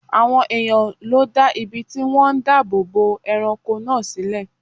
Àwọn èèyàn ló dá ibi tí wọ́n ń dáàbò bo ẹranko náà sílẹ̀